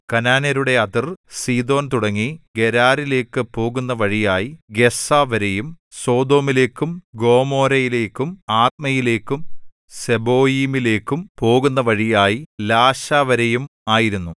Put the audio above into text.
കനാന്യരുടെ അതിർ സീദോൻ തുടങ്ങി ഗെരാരിലേക്കു പോകുന്ന വഴിയായി ഗസ്സാവരെയും സൊദോമിലേക്കും ഗൊമോരയിലേക്കും ആദ്മയിലേക്കും സെബോയീമിലേക്കും പോകുന്ന വഴിയായി ലാശവരെയും ആയിരുന്നു